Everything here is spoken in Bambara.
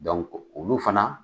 Dɔnku olu fana